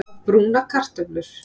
Að brúna kartöflur